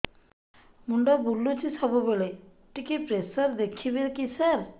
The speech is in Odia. ମୁଣ୍ଡ ବୁଲୁଚି ସବୁବେଳେ ଟିକେ ପ୍ରେସର ଦେଖିବେ କି ସାର